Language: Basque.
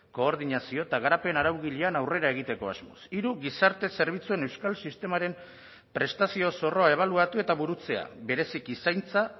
koordinazio eta garapen araugilean aurrera egiteko asmoz hiru gizarte zerbitzuen euskal sistemaren prestazio zorroa ebaluatu eta burutzea bereziki zaintza